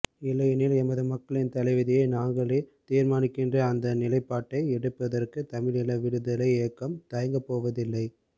இல்லையெனில் எமது மக்களின் தலைவிதியை நாங்களேதீர்மானிக்கின்ற அந்த நிலைப்பாட்டை எடுப்பதற்கு தமிழீழ விடுதலை இயக்கம் தயங்கப்போவதில்லை